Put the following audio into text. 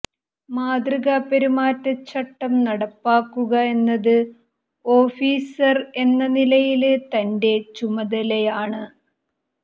മാതൃകാ പെരുമാറ്റച്ചട്ടം നടപ്പാക്കുക എന്നത് ഓഫീസര് എന്ന നിലയില് തന്റെ ചുമതലയാണ്